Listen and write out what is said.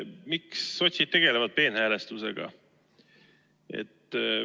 Miks tegelevad sotsiaaldemokraadid peenhäälestusega?